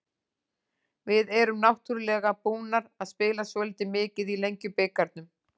Við erum náttúrulega búnar að spila svolítið mikið í Lengjubikarnum.